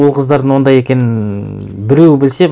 ол қыздардың ондай екенін біреуі білсе